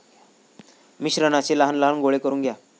मिश्रणाचे लहान लहान गोळे करून घ्या.